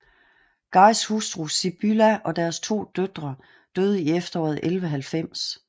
Guys hustru Sibylla og deres to døtre døde i efteråret 1190